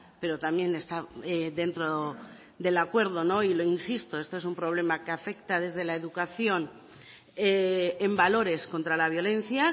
pero también está dentro del acuerdo y lo insisto esto es un problema que afecta desde la educación en valores contra la violencia